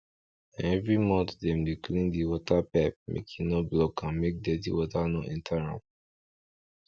na every month dem dey clean de water pipe make e no block and make dirty water no enter am